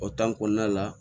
O kɔnɔna la